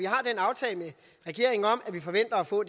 aftale med regeringen om at vi forventer at få